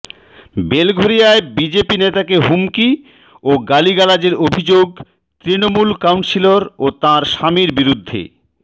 বেলঘরিয়ায় BJP নেতাকে হুমকি ও গালিগালাজের অভিযোগ তৃণমূল কাউন্সিলর ও তাঁর স্বামীর বিরুদ্ধে